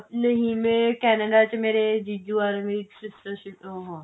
ਨਹੀ ਮੇਰੇ Canada ਚ ਮੇਰੇ ਜੀਜੂ ਅਰ ਮੇਰੀ sister ਉਹ ਆਂ